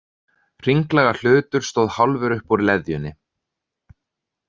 Hringlaga hlutur stóð hálfur upp úr leðjunni.